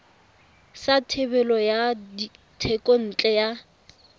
sa thebolo ya thekontle ya